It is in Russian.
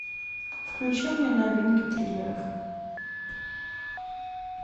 включи мне новинки триллеров